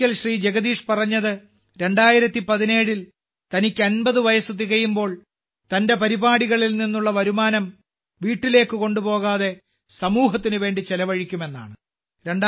ഒരിക്കൽ ശ്രീ ജഗദീഷ് പറഞ്ഞത് 2017ൽ തനിക്ക് 50 വയസ്സ് തികയുമ്പോൾ തന്റെ പരിപാടികളിൽ നിന്നുള്ള വരുമാനം വീട്ടിലേക്ക് കൊണ്ടുപോകാതെ സമൂഹത്തിന് വേണ്ടി ചെലവഴിക്കുമെന്നാണ്